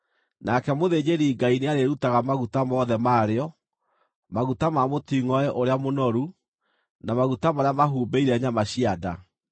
Nake mũthĩnjĩri-Ngai nĩarĩrutaga maguta mothe marĩo: maguta ma mũtingʼoe ũrĩa mũnoru, na maguta marĩa mahumbĩire nyama cia nda,